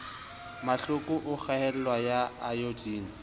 mahloko a kgaello ya ayodine